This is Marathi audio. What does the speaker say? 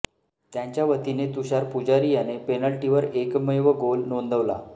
त्यांच्या वतीने तुषार पुजारी याने पेनल्टीवर एकमेव गोल नोंदवला